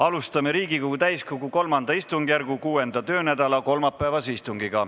Alustame Riigikogu täiskogu III istungjärgu 6. töönädala kolmapäevast istungit.